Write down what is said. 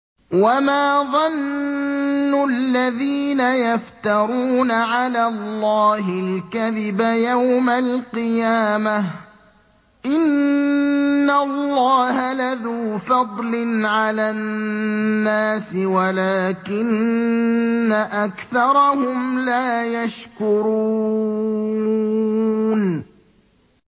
وَمَا ظَنُّ الَّذِينَ يَفْتَرُونَ عَلَى اللَّهِ الْكَذِبَ يَوْمَ الْقِيَامَةِ ۗ إِنَّ اللَّهَ لَذُو فَضْلٍ عَلَى النَّاسِ وَلَٰكِنَّ أَكْثَرَهُمْ لَا يَشْكُرُونَ